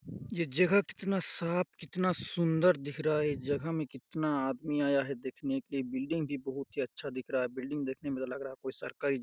ये जगह कितना साफ कितना सुन्दर दिख रहा हैं ये जगह में कितना आदमी आये हैं देखने के बिल्डिंग भी बहुत ही अच्छा दिख रहा हैं बिल्डिंग देखने में लग रहा हैं कोई सरकारी--